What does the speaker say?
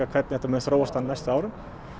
hvernig þetta mun þróast á næstu árum